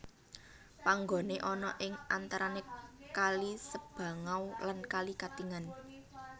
Panggone ana ing antarane kali Sebangau lan kali Katingan